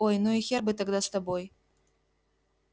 ой ну и хер бы тогда с тобой